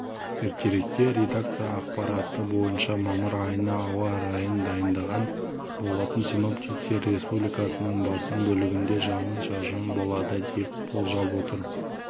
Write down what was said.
ертеректе редакция ақпараты бойынша мамыр айына ауа райын дайындаған болатын синоптиктер республиканың басым бөлігінде жауын-шашын болады деп болжап отыр